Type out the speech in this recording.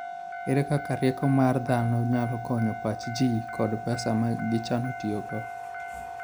Ere kaka rieko mar dhano nyalo konyo pach ji kod pesa ma gichano tiyogo?